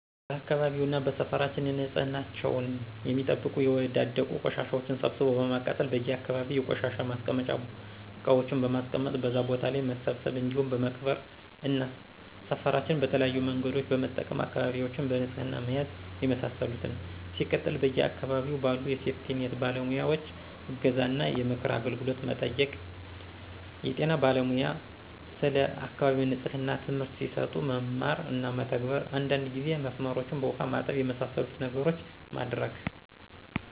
በአካባቢውና በሰፈራችን ንፅህናቸውን የሚጠብቁ የወዳደቁ ቆሻሻዎችን ሰብስቦ በማቃጠል: በየ አካባቢዎች የቆሻሻ ማስቀመጫ እቃዎችን በማስቀመጥ በዛ ቦታ ላይ መሰብሰብ እንዲሁም በመቅበር እና ሰፍራችን በተለያዬ መንገዶችን በመጠቀም አካባቢዎችን በንፅህና መያዝ የመሳሰሉትን። ሲቀጥል በየ አካባቢው ባሉ የሴፍቲኒት ባለሙያዎይ እገዛ እና የምክር አገልግሎት መጠየቅ። የጤና ባለሙያ ስለ አካባቢ ንፅህና ትምህርት ሲሰጡ መማር እና መተግበር። አንዳንድ ጊዜ መስመሮችን በውሃ ማጠብ። የመሳሰሉትን ነገሮች ማድረግ